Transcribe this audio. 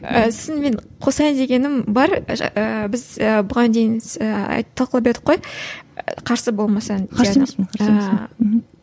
ііі сосын мен қосайын дегенім бар і біз і бұған дейін тоқталып едік қой қарсы болмасаң қарсы емеспін қарсы емеспін мхм ііі